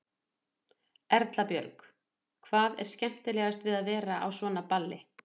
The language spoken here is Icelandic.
Erla Björg: Hvað er skemmtilegast við að vera á svona balli?